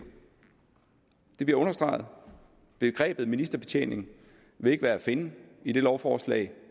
det bliver understreget begrebet ministerbetjening vil ikke være at finde i det lovforslag